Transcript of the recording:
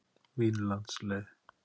Vínlandsleið